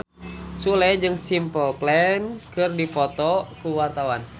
Sule jeung Simple Plan keur dipoto ku wartawan